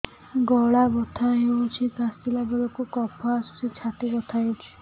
ଗଳା ବଥା ହେଊଛି କାଶିଲା ବେଳକୁ କଫ ଆସୁଛି ଛାତି ବଥା ହେଉଛି